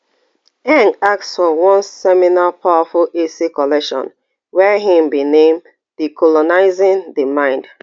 ask for one seminal powerful essay collection wey im bin name decolonising the mind